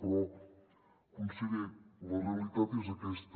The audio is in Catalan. però conseller la realitat és aquesta